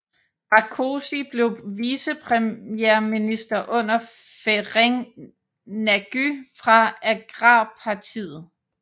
Rákosi blev vicepremierminister under Ferenc Nagy fra agrarpartiet